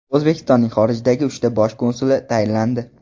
O‘zbekistonning xorijdagi uchta bosh konsuli tayinlandi.